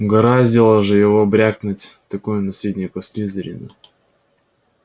угораздило же его брякнуть такое наследнику слизерина